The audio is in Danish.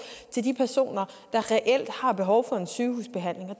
til de personer der reelt har behov for en sygehusbehandling og